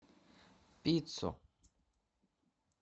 пиццу